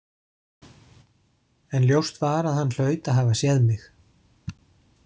En ljóst var að hann hlaut að hafa séð mig.